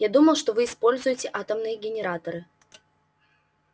я думал что вы используете атомные генераторы